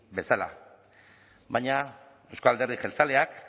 bezala baina euzko alderdi jeltzaleak